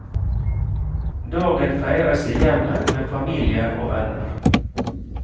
Dagen feires i hjemmet med familie og venner.